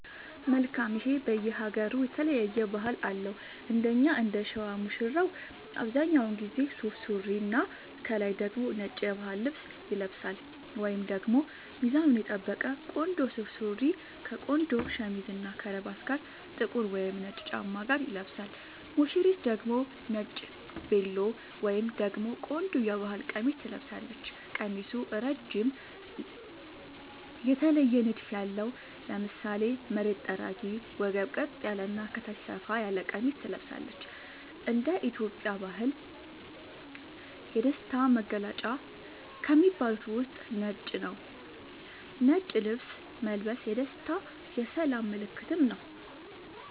መልካም ይሄ በየ ሃገሩ የተለያየ ባህል አለው እንደኛ እንደሸዋ ሙሽራው አብዛኛውን ጊዜ ሱፍ ሱሪና ከላይ ደግሞ ነጭ የባህል ልብስ ይለብሳልወይንም ደግሞ ሚዛኑን የጠበቀ ቆንጆ ሱፍ ሱሪ ከቆንጆ ሸሚዝ እና ከረባት ጋር ጥቁር ወይም ነጭ ጫማ ጋር ይለብሳል ሙሽሪት ደግሞ ነጭ ቬሎ ወይም ደግሞ ቆንጆ የባህል ቀሚስ ትለብሳለች ቀሚሱ እረጅም የተለየ ንድፍ ያለው ( ለምሳሌ መሬት ጠራጊ ወገብ ቀጥ ያለ እና ከታች ሰፋ ያለ ቀሚስ ትለብሳለች )እንደ ኢትዮጵያ ባህል የደስታ መገልውጫ ቀለም ከሚባሉት ውስጥ ነጭ ነዉ ነጭ ልብስ መልበስ የደስታ የሰላም ምልክትም ነዉ